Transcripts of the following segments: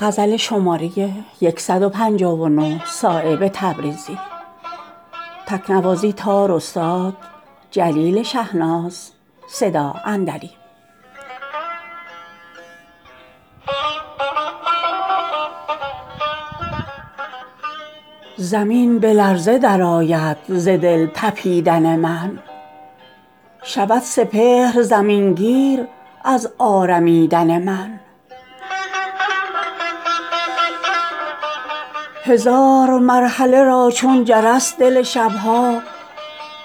زمین به لرزه درآید ز دل تپیدن من شود سپهر زمین گیر از آرمیدن من شکوه دانه من تا به آسمان چه کند دو نیم شد جگر خاک از دمیدن من گذشت عمر به خامی مگر قضا افکند به آفتاب قیامت ثمر رسیدن من توان شنیدن آواز حلقه در مرگ اگر گران نبود گوش از خمیدن من هزار مرحله را چون جرس دل شبها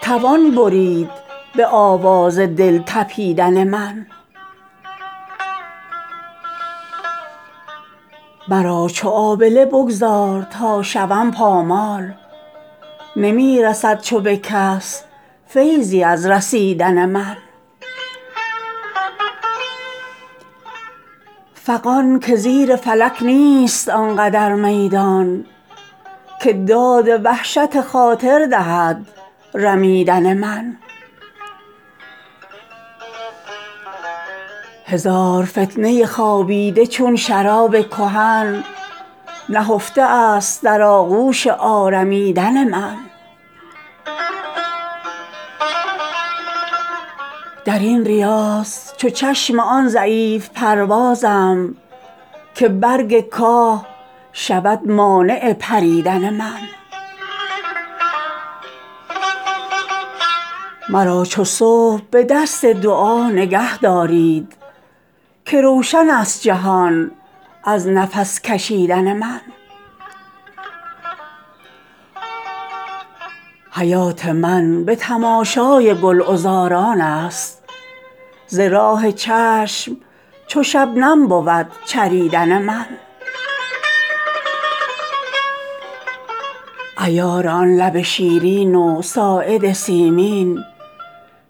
توان برید به آواز دل تپیدن من مرا چو آبله بگذار تا شوم پامال نمی رسد چو به کس فیضی از رسیدن من فغان که زیر فلک نیست آنقدر میدان که داد وحشت خاطر دهد رمیدن من هزار فتنه خوابیده چون شراب کهن نهفته است در آغوش آرمیدن من درین ریاض چو چشم آن ضعیف پروازم که برگ کاه شود مانع پریدن من ز ریشه کند دو صد سرو پای در گل را به جستجوی تو از خود برون دویدن من مرا چو صبح به دست دعا نگه دارید که روشن است جهان از نفس کشیدن من حیات من به تماشای گلعذاران است ز راه چشم چو شبنم بود چریدن من ز بوریا نتوان شعله را به دام کشید قفس چگونه شود مانع پریدن من چه شد که گوش به حرفم نکرد می دانم که هست گوش بر آواز دل تپیدن من عیار آن لب شیرین و ساعد سیمین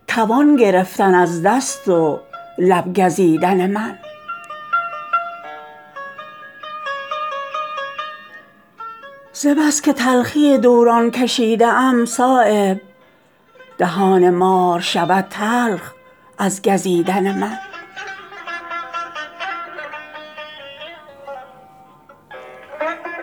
توان گرفتن از دست و لب گزیدن من ز بس که تلخی دوران کشیده ام صایب دهان مار شود تلخ از گزیدن من من آن رمیده غزالم درین جهان صایب که در جدایی خلق است آرمیدن من